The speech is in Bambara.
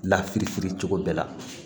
Lafili fili cogo bɛɛ la